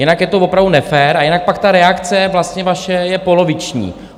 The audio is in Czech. Jinak je to opravdu nefér a jinak pak ta reakce vlastně vaše je poloviční.